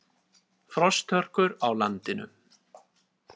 Frosthörkur á landinu